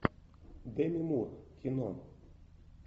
деми мур кино